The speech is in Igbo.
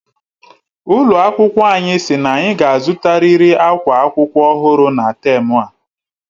Ụlọ akwụkwọ anyi sị n'anyi ga azutariri akwa akwụkwọ ọhụrụ na tem a..